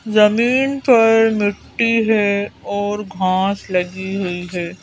जमीन पर मिट्टी है और घास लगी हुई है।